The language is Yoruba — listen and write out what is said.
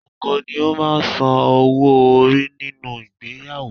Ọkọ ni ó máa ń san owó orí nínú ìgbéyàwó